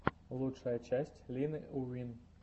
лучшая часть лины уин